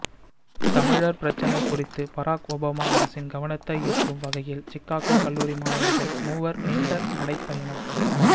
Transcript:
தமிழர் பிரச்சினை குறித்து பராக் ஒபாமா அரசின் கவனத்தை ஈர்க்கும் வகையில் சிக்காகோ கல்லூரி மாணவர்கள் மூவர் நீண்ட நடைப்பயணம்